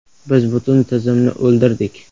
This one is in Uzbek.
“Biz butun tizimni o‘ldirdik”.